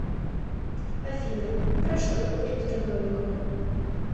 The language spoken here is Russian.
афина про что криптономикон